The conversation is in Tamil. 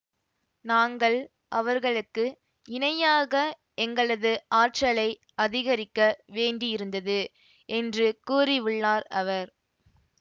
நாங்கள் அவர்களுக்கு இணையாக எங்களது ஆற்றலை அதிகரிக்க வேண்டியிருந்தது என்று கூறிவுள்ளார் அவர்